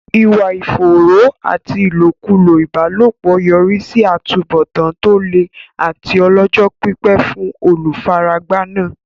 Ìwà ìfòòró àti ìlòkulò ìbálòpọ̀ yọrí sí àtúbọ̀tán tó le àti ọlọ́jọ́-pípẹ́ fún olùfaragbá náà.